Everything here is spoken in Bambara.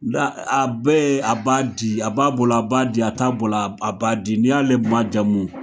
A bɛɛ a b'a di a b'a bolo a b'a di a t'a bolo a b'a di n'i y'ale maajamu